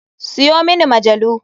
Siyo mini majalu.